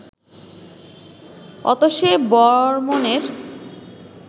অতসে বর্মনের